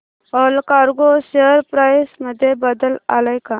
Allcargo share price मध्ये बदल आलाय का